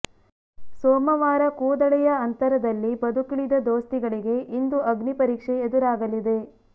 ಸೋಮವಾರ ಕೂದಳೆಯ ಅಂತರದಲ್ಲಿ ಬದುಕುಳಿದ ದೋಸ್ತಿಗಳಿಗೆ ಇಂದು ಅಗ್ನಿ ಪರೀಕ್ಷೆ ಎದುರಾಗಲಿದೆ